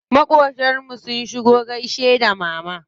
Maƙotan mu sun shigo gaishe da mama.